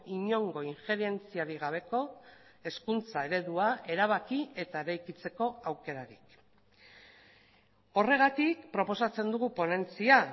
inongo injerentziarik gabeko hezkuntza eredua erabaki eta eraikitzeko aukerarik horregatik proposatzen dugu ponentzia